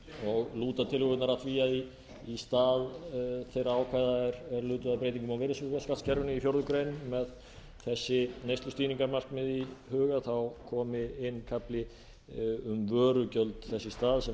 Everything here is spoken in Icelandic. sérstaklega lúta tillögurnar að því að í stað þeirra ákvæða er lutu að breytingum á virðisaukaskattskerfinu í fjórða grein með þessi neyslustýringarmarkmið í huga komi inn kafli um vörugjöld þess í stað